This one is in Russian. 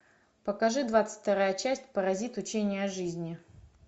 покажи двадцать вторая часть паразиты учение о жизни